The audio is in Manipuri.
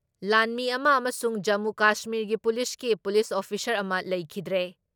ꯂꯥꯟꯃꯤ ꯑꯃ ꯑꯃꯁꯨꯡ ꯖꯃꯨ ꯀꯥꯁꯃꯤꯔꯒꯤ ꯄꯨꯂꯤꯁꯀꯤ ꯄꯨꯂꯤꯁ ꯑꯣꯐꯤꯁꯥꯔ ꯑꯃ ꯂꯩꯈꯤꯗ꯭ꯔꯦ ꯫